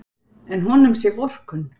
En honum sé vorkunn.